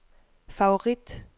favorit